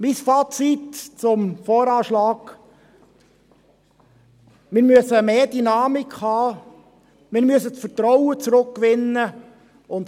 Mein Fazit zum VA: Wir brauchen mehr Dynamik, und wir müssen das Vertrauen zurückgewinnen.